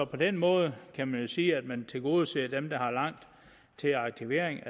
på den måde kan man jo sige at man tilgodeser dem der har langt til aktivering